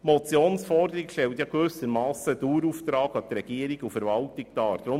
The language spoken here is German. Die Motionsforderung stellt einen Dauerauftrag an Regierung und Verwaltung dar.